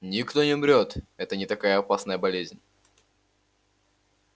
никто не умрёт это не такая опасная болезнь